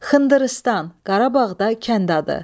Xındırıstan, Qarabağda kənd adı.